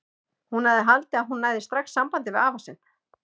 Hún hafði haldið að hún næði strax sambandi við afa sinn.